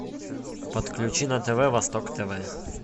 подключи на тв восток тв